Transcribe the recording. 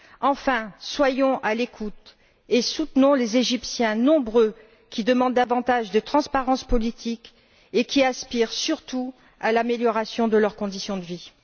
Enfin, soyons à l'écoute et soutenons les Égyptiens, nombreux, qui demandent davantage de transparence politique et qui aspirent surtout à l'amélioration de leurs conditions de vie.